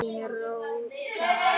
Þín Sara Rós.